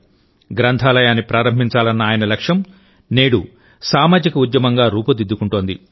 గ్రంథాలయాన్ని ప్రారంభించాలన్న ఆయన లక్ష్యం నేడు సామాజిక ఉద్యమంగా రూపుదిద్దుకుంటోంది